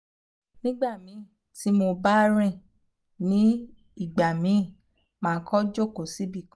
um nigbamii ti mo ba rin ni nigbamii ma ko joko sibikan